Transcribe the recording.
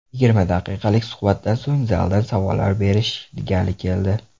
Yigirma daqiqalik suhbatdan so‘ng zaldan savollar berish gali keldi.